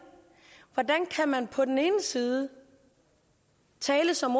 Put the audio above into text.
hvordan kan man på den ene side tale som